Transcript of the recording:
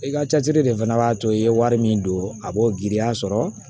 I ka ca jiri de fana b'a to i ye wari min don a b'o giriya sɔrɔ